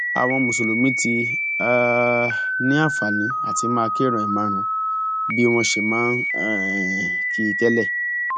àwọn mùsùlùmí ti um ní àǹfààní àti máa kírun ẹẹmarùnún bí wọn ṣe máa ń um kí i tẹ́lẹ̀